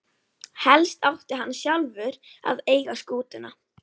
Helst átti hann sjálfur að eiga skútuna.